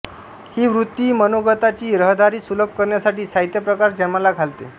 ही वृत्ती मनोगताची रहदारी सुलभ करण्यासाठी साहित्यप्रकार जन्माला घालते